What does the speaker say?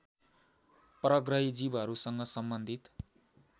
परग्रही जीवहरूसँग सम्बन्धित